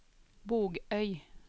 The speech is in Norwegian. Bogøy